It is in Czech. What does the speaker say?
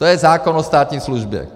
To je zákon o státní službě.